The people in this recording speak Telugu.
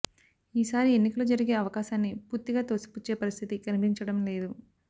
ఈసారి ఎన్నికలు జరిగే అవకాశాన్ని పూర్తిగా తోసిపుచ్చే పరిస్థితి కనిపించడం లేదు